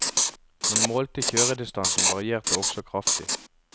Den målte kjøredistansen varierte også kraftig.